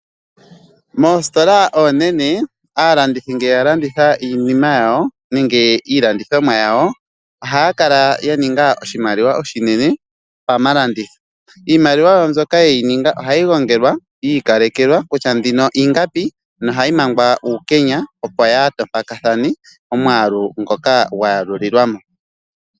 Moositola oonene, aalandithi ngele yalanditha iinima yawo nenge iilandithomwa yawo ohaya kala yaninga oshimaliwa oshinene pamalanditho. Iimaliwa wo mbyoka yeyi ninga ohayi gongelwa yi ikalekelwa kutya mbino ingapi na ohayi mangwa uukenya opo yaaha tompakathane omwaalu ngoka gwayalulilwamo.